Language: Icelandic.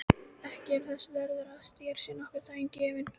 Ekki ertu þess verður að þér sé nokkur dagur gefinn.